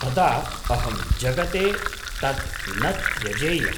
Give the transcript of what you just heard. तदा, अहं जगते तत् न त्यजेयम्।